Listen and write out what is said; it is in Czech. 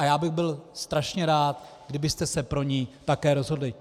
A já bych byl strašně rád, kdybyste se pro ni také rozhodli.